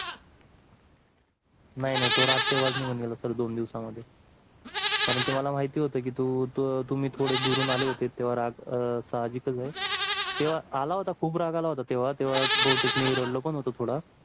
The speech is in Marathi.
नाही नाही तो राग तेव्हाच निगुण गेला दोन दिवसामध्ये. कारण की मला महिती होत तू तुम्ही थोडे दुरून आले होते. तेव्हा राग साहाजिकच आहे. तेव्हा आला होता राग खूप राग आला होता. तेव्हा बहुतेक मी रडलो पण होतो थोडा